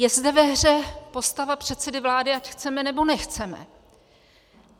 Je zde ve hře postava předsedy vlády, ať chceme, nebo nechceme.